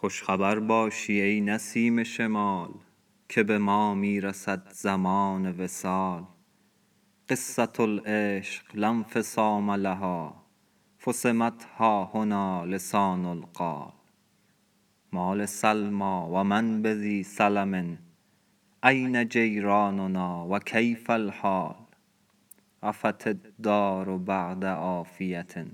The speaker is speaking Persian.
خوش خبر باشی ای نسیم شمال که به ما می رسد زمان وصال قصة العشق لا انفصام لها فصمت ها هنا لسان القال ما لسلمی و من بذی سلم أین جیراننا و کیف الحال عفت الدار بعد عافیة